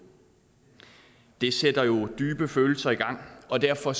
det sætter jo dybe følelser i gang og derfor